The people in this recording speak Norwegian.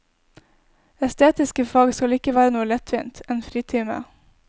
Estetiske fag skal ikke være noe lettvint, en fritime.